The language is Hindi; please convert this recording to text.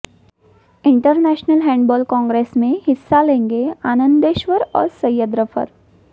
इंटरनेशनल हैण्डबॉल कांग्रेस में हिस्सा लेंगे आनन्देश्वर और सैयद रफत